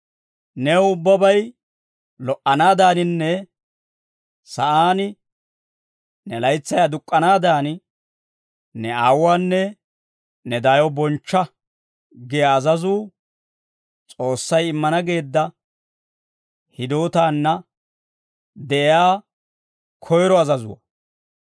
«New ubbabay lo"anaadaaninne sa'aan ne laytsay aduk'k'anaadan, ne aawuwaanne ne daayo bonchcha» giyaa azazuu S'oossay immana geedda hidootaana de'iyaa koyiro azazuwaa.